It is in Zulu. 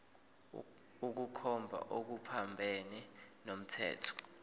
ukukhomba okuphambene nomthetho